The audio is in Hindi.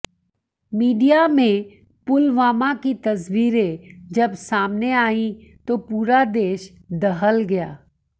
मीडिया में पुलवामा की तस्वीरें जब सामने आईं तो पूरा देश दहल गया